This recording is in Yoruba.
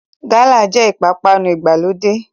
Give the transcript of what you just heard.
Gálà jẹ́ ìpápánu ìgbàlódé